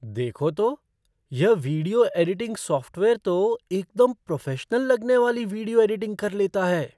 देखो तो! यह वीडियो एडिटिंग सॉफ़्टवेयर तो एकदम प्रोफ़ेशनल लगने वाली वीडियो एडिटिंग कर लेता है।